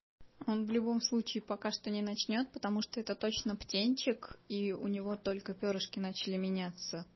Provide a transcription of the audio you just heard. он в любом случае пока что не начнёт потому что это точно птенчик и у него только пёрышки начали меняться